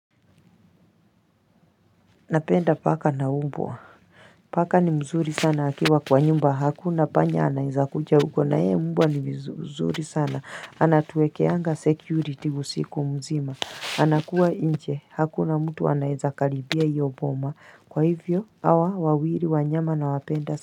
Napenda paka na umbwa paka ni mzuri sana akiwa kwa nyumba hakuna panya anaeza kuja uko na ee umbwa ni mzuri sana anatuekeanga security usiku mzima anakua inche hakuna mtu anaeza kalibia iyo boma kwa hivyo awa wawiri wanyama na wapenda.